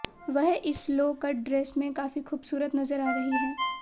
वह इस low cut dress में काफी खूबसूरत नजर आ रही है